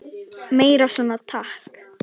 Meira svona, takk!